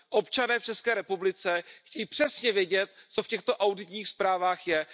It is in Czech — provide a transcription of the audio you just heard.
Občané v České republice chtějí přesně vědět, co v těchto auditních zprávách je.